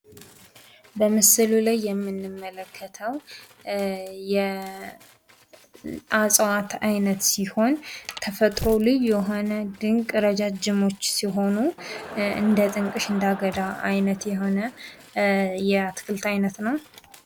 በምስሉ ላይ የምንመከተው የእጽዋት አይነት ሲሆን ተፈጥሮ ልዩ የሆነ ድንቅ ረጃጅሞች ሲሆኑ እንደጥንቅሽ እንደአገዳ አይነት የሆነ የአትክልት አይነት ነው።